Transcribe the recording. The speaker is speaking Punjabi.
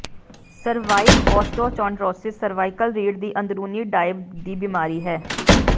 ਸਰਵਾਇਕ ਓਸਟੋਚੌਂਡ੍ਰੋਸਿਸ ਸਰਵਾਈਕਲ ਰੀੜ੍ਹ ਦੀ ਅੰਦਰੂਨੀ ਡਾਇਬ ਦੀ ਬਿਮਾਰੀ ਹੈ